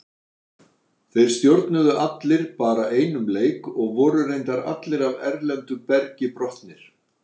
Þeir stjórnuðu allir bara einum leik og voru reyndar allir af erlendu bergi brotnir.